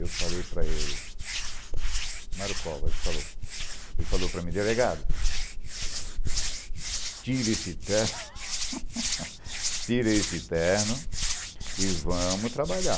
Eu falei para ele... Marukovas falou... Ele falou para mim, delegado... Tira esse terno... Tira esse terno e vamos trabalhar.